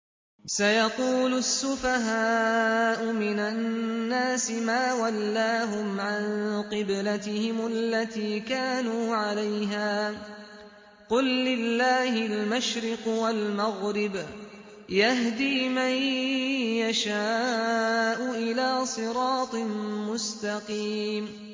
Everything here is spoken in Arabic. ۞ سَيَقُولُ السُّفَهَاءُ مِنَ النَّاسِ مَا وَلَّاهُمْ عَن قِبْلَتِهِمُ الَّتِي كَانُوا عَلَيْهَا ۚ قُل لِّلَّهِ الْمَشْرِقُ وَالْمَغْرِبُ ۚ يَهْدِي مَن يَشَاءُ إِلَىٰ صِرَاطٍ مُّسْتَقِيمٍ